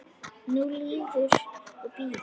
Nú líður og bíður.